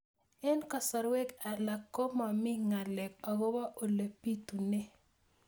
Eng' kasarwek alak ko mami ng'alek akopo ole pitunee